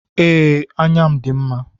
Ee, anya m dị mma.